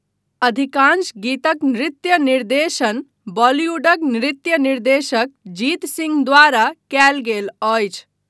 अधिकाँश गीतक नृत्य निर्देशन बॉलीवुडक नृत्य निर्देशक जीत सिंह द्वारा कयल गेल अछि।